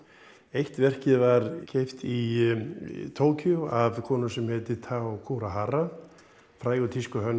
eitt verkið var keypt í Tókýó af konu sem heitir Tao Kurihara frægur